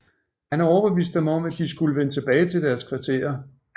Han overbeviste dem om at de skulle vende tilbage til deres kvarterer